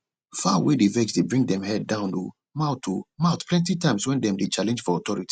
fowl wey dey vex dey bring dem head down o mouth o mouth plenty times wen dem dey challenge for authority